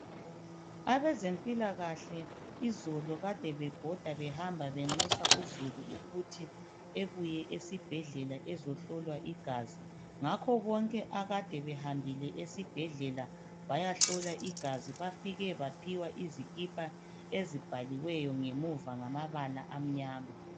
Abezempilakahle izolo kade bebhoda behamba benxusa uzulu ukuthi ebuye esibhedlela ezohlolwa igazi. Ngakho bonke akade behambile esibhedlela bayahlola igazi, bafike baphiwa izikipa ezibhaliweyo ngemuva ngamabala amnyama.